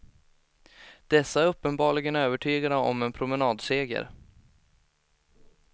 Dessa är uppenbarligen övertygade om en promenadseger.